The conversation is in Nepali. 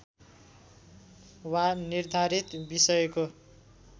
वा निर्धारित विषयको